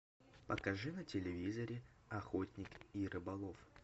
покажи на телевизоре охотник и рыболов